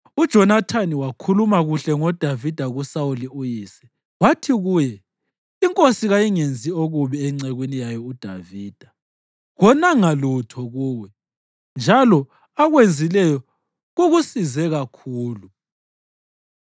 UJonathani wakhuluma kuhle ngoDavida kuSawuli uyise wathi kuye, “Inkosi kayingenzi okubi encekwini yayo uDavida, konanga lutho kuwe, njalo akwenzileyo kukusize kakhulu.